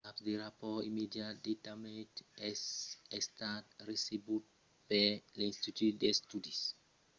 cap de rapòrt immediat de damatges es estat recebut per l'institut d'estudis geologics dels estats-units usgs e son centre nacional d'informacion suls tèrratremols